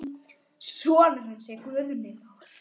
Sonur hans er Guðni Þór.